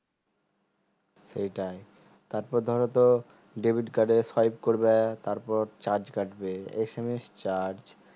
সেটাই তারপর ধরো তো debit card এ swipe করবা charge কাটবে SMS charge